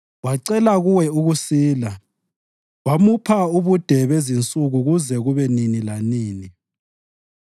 Wacela kuwe ukusila, wamupha ubude bezinsuku kuze kube nini lanini.